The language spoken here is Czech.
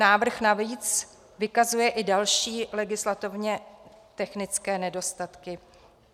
Návrh navíc vykazuje i další legislativně technické nedostatky.